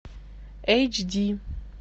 эйч ди